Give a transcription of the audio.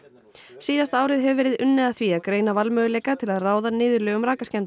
síðasta árið hefur verið unnið að því að greina valmöguleika til að ráða niðurlögum